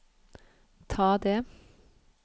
ta det